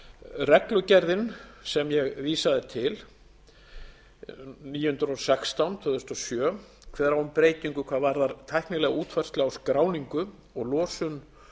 reglugerðin sem ég vísaði níu hundruð og sextán tvö þúsund og sjö kveður á um breytingu hvað varðar tæknilega útfærslu á skráningu og losun